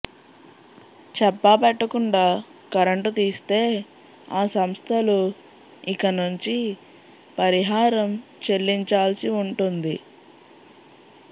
చెప్పా పెట్టకుండా కరెంటు తీస్తే ఆ సంస్థలు ఇకనుంచి పరిహారం చెల్లించాల్సి ఉంటుంది